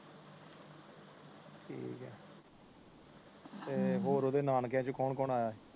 ਤੇ ਹੋਰ ਓਦੇ ਨਾਨਕਿਆਂ ਚੋ ਕੌਣ ਕੌਣ ਆਇਆ